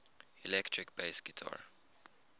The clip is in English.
electric bass guitar